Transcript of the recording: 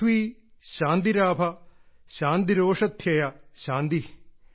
പ്രിഥ്വീ ശാന്തിരാപ ശാന്തിരോഷധ്യയ ശാന്തി